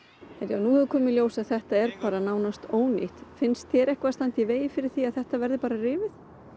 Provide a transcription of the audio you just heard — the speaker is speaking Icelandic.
nú hefur komið í ljós að þetta er nánast ónýtt finnst þér eitthvað standa í vegi fyrir því að þetta verði bara rifið